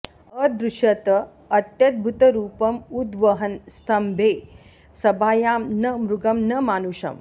अदृश्यत अत्यद्भुतरूपं उद्वहन् स्तंबे सभायां न मृगं न मानुषम्